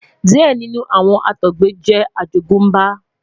diẹ ninu awọn Àtọgbẹ jẹ àjogúnbá